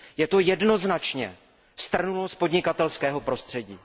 Je to jednoznačně strnulost podnikatelského prostředí.